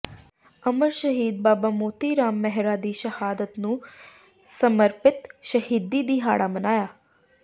ਅਮਰ ਸ਼ਹੀਦ ਬਾਬਾ ਮੋਤੀ ਰਾਮ ਮਹਿਰਾ ਦੀ ਸ਼ਹਾਦਤ ਨੂੰ ਸਮਰਪਿਤ ਸ਼ਹੀਦੀ ਦਿਹਾੜਾ ਮਨਾਇਆ